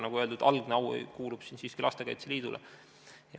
Nagu öeldud, algne au kuulub siin siiski Lastekaitse Liidule.